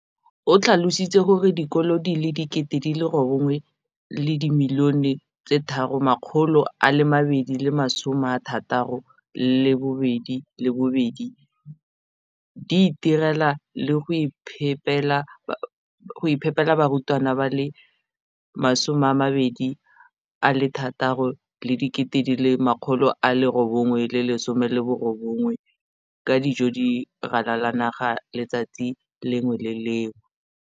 O tlhalositse gore dikolo tse di sa akarediwang mo lenaaneng leno di ikopanye le dikantoro tsa kgaolo fa e le gore le tsona di batla go akarediwa.